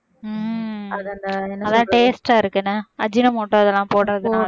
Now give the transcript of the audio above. உம் அதான் taste ஆ இருக்குன்னா அஜினோமோட்டோ அதெல்லாம் போடறதுனால